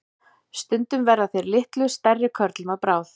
Stundum verða þeir litlu stærri körlum að bráð.